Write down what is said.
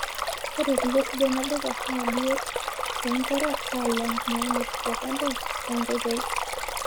Ore kule sidain olduka naa biot toonkera alang' naamiri tekando oonkoitoi.